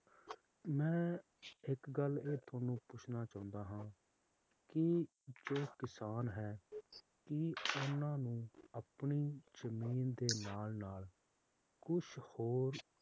ਮੈਂ ਇੱਕ ਗੱਲ ਇਹ ਤੁਹਾਨੂੰ ਪੁੱਛਣਾ ਚਾਹੁੰਦਾ ਆ ਕੀ ਜੋ ਕਿਸਾਨ ਹੈ ਕਿ ਹਨ ਨੂੰ ਆਪਣੀ ਜਮੀਨ ਦੇ ਨਾਲ ਨਾਲ ਕੁਛ ਹੋਰ